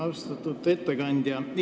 Austatud ettekandja!